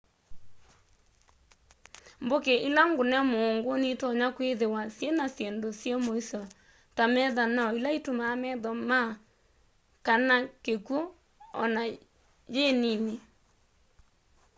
mbuki ila ngune muungu nitonya kwithiwa syina syindu syi muisyo ta methanoo ila itumaa metho maa kana kikwu ona yi nini